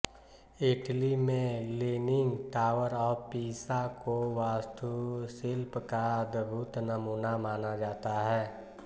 Italy में leaning tower of Pisa को वास्तुशिल्प का अदभुत नमूना माना जाता है